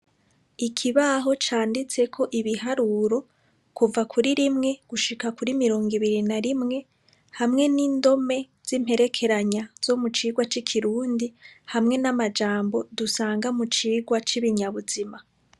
Ikibaho canditseko ibiharuro, kuva ku rimwe gushika kuri mirongo ibiri na rimwe hamwe n'indome z'imperekeranya zo mu cigwa c'ikirundi hamwe n'amajambo dusanga mu cigwa c'ibinyabuzima.